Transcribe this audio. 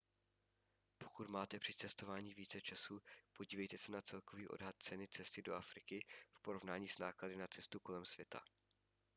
pokud máte při cestování více času podívejte se na celkový odhad ceny cesty do afriky v porovnání s náklady na cestu kolem světa